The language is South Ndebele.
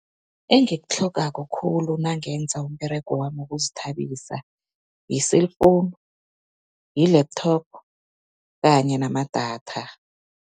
Engikitlhogako khulu nangenza umberego wami wokuzithabisa, yi-cellphone, yi-laptop kanye namadatha.